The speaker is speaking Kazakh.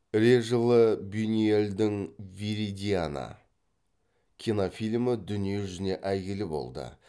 режылы бюнюэльдің виридиана кинофильмі дүние жүзіне әйгілі болды